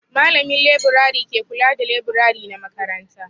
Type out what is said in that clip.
Malamin laburare ke kula da laburare na makaranta.